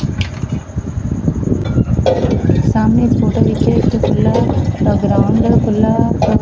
ਸਾਹਮਣੇ ਇੱਕ ਫੋਟੋ ਹੋਈ ਇਕ ਚੁਲਾ ਇਕ ਗਰਾਊਂਡ ਖੁੱਲਾ--